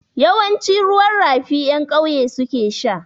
Yawanci ruwan rafi ƴan ƙauye su ke sha.